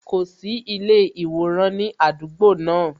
Kò sí ilé iworan ní àdúgbò náà